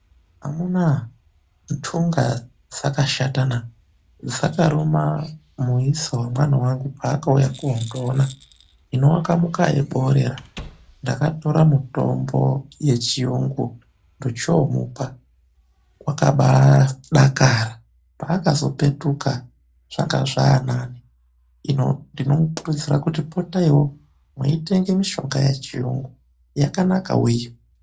Amunaa, ndunga dzakashata na, dzakaruma muisa wemwana wangu paakauya koondiona. Hino akamuka eiborera, ndakatora mutombo yechiyungu ndochoomupa, wakabaadakara. Paakazopetuka zvanga zvaanane. Hino ndinomukurudzira kuti potaiwo mweyitenge mishonga yechiyungu, yakanaka wee.